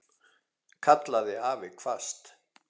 kallaði afi hvasst.